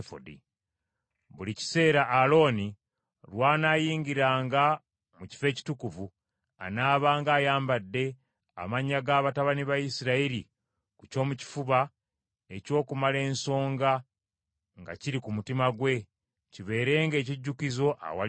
“Buli kiseera Alooni lw’anaayingiranga mu Kifo Ekitukuvu, anaabanga ayambadde amannya ga batabani ba Isirayiri ku kyomukifuba eky’okumala ensonga, nga kiri ku mutima gwe, kibeerenga ekijjukizo awali Mukama .